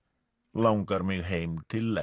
langar mig heim til